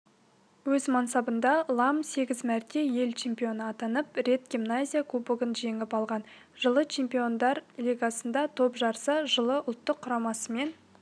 өз мансабында лам сегіз мәрте ел чемпионы атанып рет германия кубогын жеңіп алған жылы чемпиондар лигасында топ жарса жылы ұлттық құрамасымен